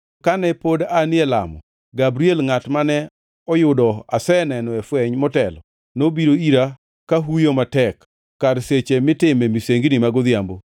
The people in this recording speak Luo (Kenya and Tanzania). kane pod anie lamo, Gabriel, ngʼat mane oyudo aseneno e fweny motelo, nobiro ira ka huyo matek kar seche mitime misengni mag odhiambo.